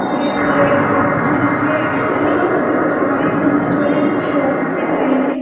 --और red colour red board पर जो लिखा है एयरटेल वह दिखा रहा है जो नीचे जो है कुछ शॉप्स दिख रहे है।